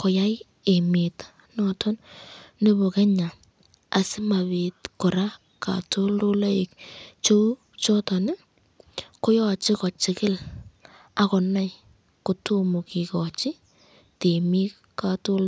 koyai emet nebo Kenya asimabit kora katoltolaik cheu choton koyache kochikil akonai kotomo kikochin temik katoltolaik.